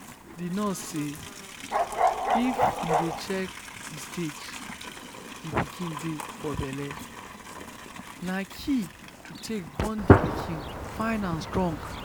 the nurse say if you dey check the stage the pikin dey for belle na key to take born the pikin fine and strong